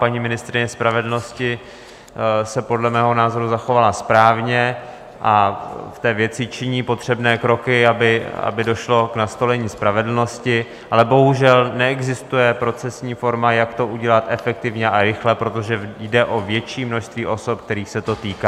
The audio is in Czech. Paní ministryně spravedlnosti se podle mého názoru zachovala správně a v té věci činí potřebné kroky, aby došlo k nastolení spravedlnosti, ale bohužel neexistuje procesní forma, jak to udělat efektivně a rychle, protože jde o větší množství osob, kterých se to týká.